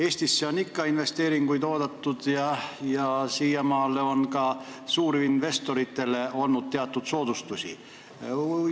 Eestisse on ikka investeeringuid oodatud ja siiamaani on suurinvestoritele ka teatud soodustusi tehtud.